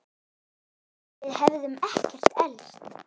Við hefðum ekkert elst.